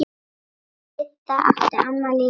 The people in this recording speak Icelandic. Didda átti afmæli í París.